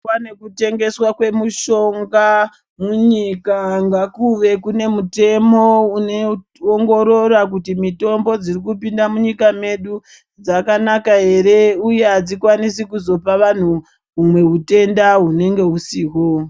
Pane kutengeswa kwemushonga munyika ngakuve kune mutemo unoongorira kuti mutombo dziri kupinda munyika medu dzakanaka ere uye adzikwanisinkuzopa vanhu humwe utenda hunenge husihwo.